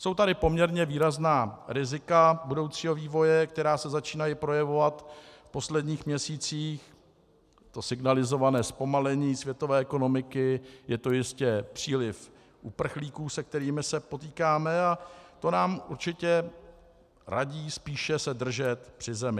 Jsou tady poměrně výrazná rizika budoucího vývoje, která se začínají projevovat v posledních měsících, to signalizované zpomalení světové ekonomiky, je to jistě příliv uprchlíků, se kterými se potýkáme, a to nám určitě radí spíše se držet při zemi.